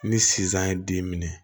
Ni sisan ye den minɛ